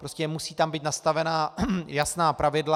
Prostě tam musí být nastavena jasná pravidla.